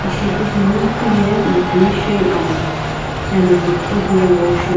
shipuzuno huye mitsumishei amo ena timiqo hiye worksh--